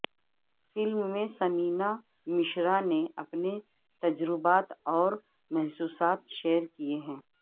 film میں ثمینہ مشرا نے اپنے تجربات اور محسوسات شیئر کیے ہیں